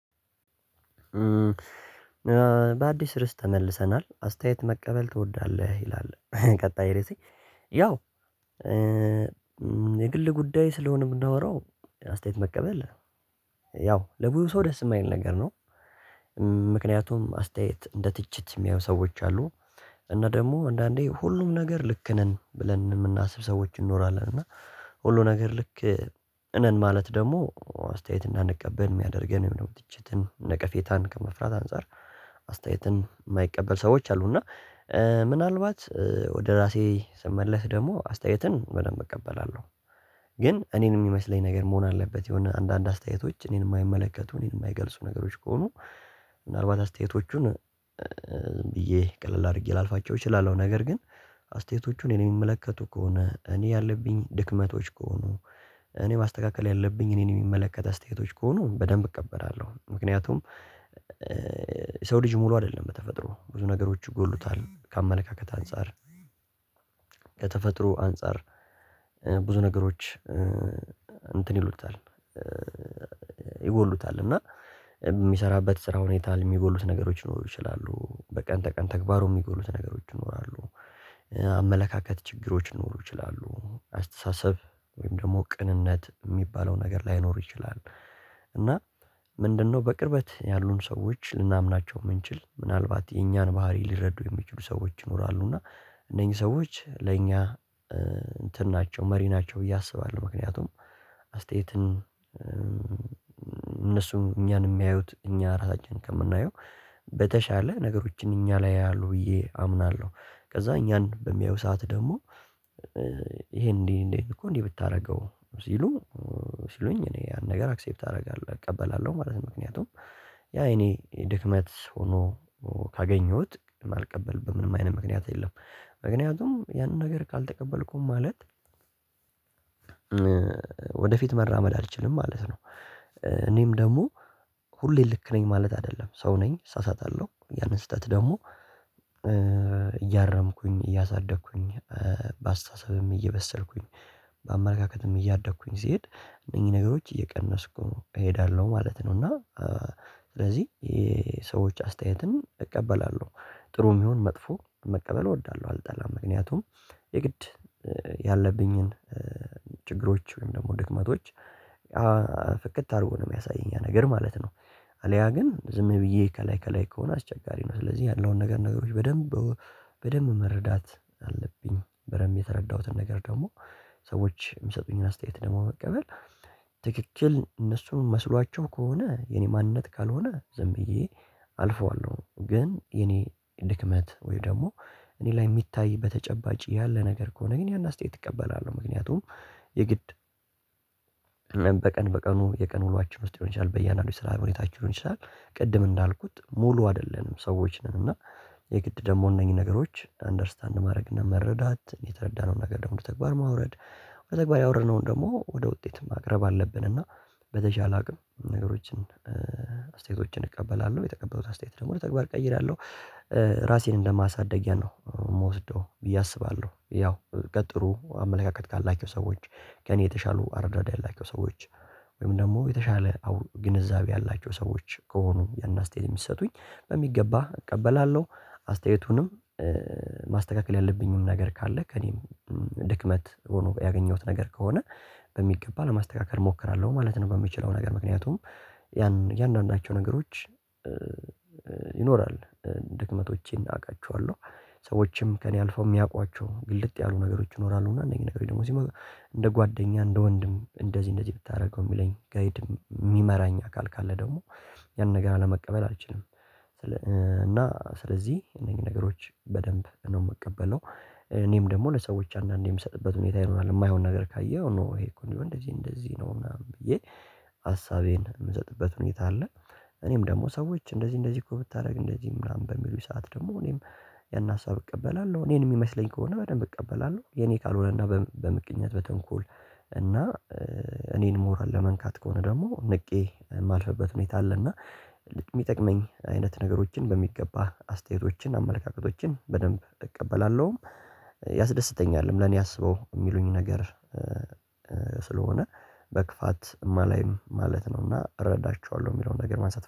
በአዲስ ርዕስ ተመልሰናል አስተያየት መቀበል ትወዳለህ ይላል? ቀጣይ ርዕሴ ያው የግል ጉዳይ ስለሆነ ነው የምናወራው አስተያየት መቀበል ያው ለብዙ ሰው ደስ የማይል ነገር ነው። ምክንያቱም አስተያየት እንደ ትችት የሚያዩ ሰዎች አሉ እና ደግሞ አንዳንዴ ሁሉም ነገር ልክ ነን ብለን የምናስብ ሰዎች እንኖራለን እና ሁሉ ነገር ልክ ነን ማለት ደግሞ አስተያየት እንዳንቀበል የሚያደርገን የምንም ትችትን ነቀፌታን ከመፍራት አንፃር አስተያየትን የማይቀበል ሰዎች አሉ እና ምናልባት ወደ ራሴ ስመለስ ደግሞ አስተያየትን በደንብ እቀበላለሁ። ግን እኔን የሚመስለኝ ነገር መሆን አለበት የሆነ አንዳንድ አስተያየቶች እኔን የማይመለከቱ እኔን የማይገልጹ ነገሮች ከሆኑ ምናልባት አስተያየቶቹን ብዬ ቀለል አድርጌ ላልፋቸው እችላለሁ ነገር ግን አስተያየቶቹን እኔን የሚመለከቱ ከሆነ እኔ ያለብኝ ድክመቶች ከሆኑ እኔ ማስተካከል ያለብኝ እኔን የሚመለከት አስተያየቶች ከሆኑ በደንብ እቀበላለሁ። ምክንያቱም የሰው ልጅ ሙሉ አይደለም በተፈጥሮ ብዙ ነገሮች ይጎሉታል ከአመለካከት አንፃር ከተፈጥሮ አንፃር ብዙ ነገሮች እንትን ይሉታል ይጎሉታል እና የሚሰራበት ስራ ሁኔታ የሚጎሉት ነገሮች ሊኖሩ ይችላሉ በቀን ተቀን ተግባሩ የሚጎሉት ነገሮች ይኖራሉ አመለካከት ችግሮች ይኖሩ ይችላሉ አስተሳሰብ ወይም ደግሞ ቅንነት የሚባለው ነገር ላይኖሩ ይችላል። እና ምንድነው በቅርበት ያሉን ሰዎች ልናምናቸው የምንችል ምናልባት የእኛን ባህሪ ሊረዱ የሚችሉ ሰዎች ይኖራሉ። እና እነኚህ ሰዎች ለእኛ እንትን ናቸው መሪ ናቸው ብዬ አስባለሁ ምክንያቱም አስተያየትን እነሱም እኛን የሚያዩት እኛ ራሳችንን ከምናየው በተሻለ ነገሮችን እኛ ላይ ያያሉ ብዬ አምናለሁ። ከዛ እኛን በሚያዩ ሰዓት ደግሞ ይሄን እንዲህ እንዲህ እኮ እንዲህ ብታደርገው ሲሉ ሲሉኝ እኔ ያን ነገር አክሴፕት አደርጋለሁ እቀበላለሁ ማለት ነው። ምክንያቱም ያ የእኔ ድክመት ሆኖ ካገኘሁት ማልቀበልበት ምንም አይነት ምክንያት የለም። ምክንያቱም ያንን ነገር ካልተቀበልኩም ማለት ወደፊት መራመድ አልችልም ማለት ነው። እኔም ደግሞ ሁሌ ልክ ነኝ ማለት አይደለም ሰው ነኝ እሳሳታለሁ ያንን ስህተት ደግሞ እያረምኩኝ እያሳደግኩኝ በአስተሳሰብም እየበሰልኩኝ በአመለካከትም እያደግኩኝ ስሄድ እነኚህ ነገሮች እየቀነስኩ እሄዳለሁ ማለት ነው። እና ስለዚህ የሰዎች አስተያየትን እቀበላለሁ ጥሩም ይሁን መጥፎ መቀበል እወዳለሁ አልጠላም ምክንያቱም የግድ ያለብኝን ችግሮች ወይም ደግሞ ድክመቶች ፍክት አርጎ ነው የሚያሳየኝ ያ ነገር ማለት ነው። አልያ ግን ዝም ብዬ ከላይ ከላይ ከሆነ አስቸጋሪ ነው ስለዚህ ያለውን ነገር ነገሮች በደንብ በደንብ መረዳት አለብኝ በደንብ የተረዳሁትን ነገር ደግሞ ሰዎች የሚሰጡኝን አስተያየት ደግሞ መቀበል ትክክል እነሱን መስሏቸው ከሆነ የኔ ማንነት ካልሆነ ዝም ብዬ አልፈዋለሁ ግን የኔ ድክመት ወይ ደግሞ እኔ ላይ የሚታይ በተጨባጭ ያለ ነገር ከሆነ ግን ያን አስተያየት እቀበላለሁ። ምክንያቱም የግድ በቀን በቀኑ የቀን ውሎአችን ውስጥ ሊሆን ይችላል በያንድአንዱ የስራ ሁኔታችን ሊሆን ይችላል። ቅድም እንዳልኩት ሙሉ አይደለንም ሰዎች ነን እና የግድ ደግሞ እነኚህን ነገሮች አንደርስታንድ ማድረግ እና መረዳት የተረዳነውን ነገር ደግሞ ወደ ተግባር ማውረድ በተግባር ያወረድንውን ደግሞ ወደ ውጤት ማቅረብ አለብን። እና በተቻለ አቅም ነገሮችን አስተያየቶችን እቀበላለሁ የተቀበሉት አስተያየት ደግሞ ወደ ተግባር እቀይራለሁ ራሴን እንደማሳደጊያ ነው የምወስደው ብዬ አስባለሁ። ያው ከጥሩ አመለካከት ካላቸው ሰዎች ከእኔ የተሻሉ አረዳዳ ያላቸው ሰዎች ወይም ደግሞ የተሻለ ግንዛቤ ያላቸው ሰዎች ከሆኑ ያንን አስተያየት የሚሰጡኝ በሚገባ እቀበላለሁ አስተያየቱንም ማስተካከል ያለብኝንም ነገር ካለ ከእኔም ድክመት ሆኖ ያገኘሁት ነገር ከሆነ በሚገባ ለማስተካከል እሞክራለሁ ማለት ነው። በምችለው ነገር ምክንያቱም ያን የእያንዳንዳቸው ነገሮች ይኖራል ድክመቶቼን አውቃቸዋለሁ። ሰዎችም ከእኔ አልፈው የሚያውቋቸው ግልጥ ያሉ ነገሮች ይኖራሉ እና እነኚህ ነገሮች ደግሞ ሲመጡ እንደ ጓደኛ እንደ ወንድም እንደዚህ እንደዚህ ብታደርገው የሚለኝ ጋይድም የሚመራኝ አካል ካለ ደግሞ ያንን ነገር አለመቀበል አልችልም። እና ስለዚህ እነኚህ ነገሮች በደንብ ነው የምቀበለው። እኔም ደግሞ ለሰዎች አንዳንዴ የምሰጥበት ሁኔታ ይኖራል የማይሆን ነገር ካየሁ ኖ ይሄ እኮ እንደዚ እንደዚ ነው ምናምን ብዬ ሀሳቤን የምሰጥበት ሁኔታ አለ። እኔም ደግሞ ሰዎች እንደዚህ እንደዚህ እኮ ብታደርግ እንደዚህ ምናምን በሚሉ ሰዓት ደግሞ እኔም ያን ሀሳብ እቀበላለሁ እኔን የሚመስለኝ ከሆነ በደንብ እቀበላለሁ የኔ ካልሆነና በምቀኝነት በተንኮል እና እኔን ሞራል ለመንካት ከሆነ ደግሞ ንቄ የማልፍበት ሁኔታ አለ። እና የሚጠቅመኝ አይነት ነገሮችን በሚገባ አስተያየቶችን አመለካከቶችን በደንብ እቀበላለሁ። ያስደስተኛል ለኔ አስበው የሚሉኝ ነገር ስለሆነ በክፋትእም አላይም ማለት ነውና እረዳቸዋለሁ የሚለውን ነገር፣ ማንሳት